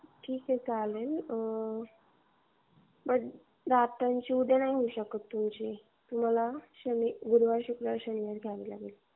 ठीक ए चालेल आह दातांची उद्या नाही होऊ शकत. तुमची दातांची. गुरुवार, शुक्रवार, शनिवार अपॉईंटमेंट घ्यावी लागेल तुम्हाला.